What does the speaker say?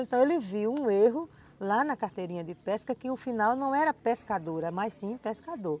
Então ele viu um erro lá na carteirinha de pesca que o final não era pescadora, mas sim pescador.